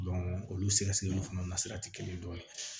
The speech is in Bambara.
olu sɛgɛsɛgɛliw fana na sira tɛ kelen dɔ ye